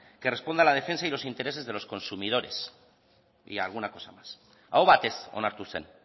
que responda a la defensa y los intereses de los consumidores y alguna cosa más aho batez onartu zen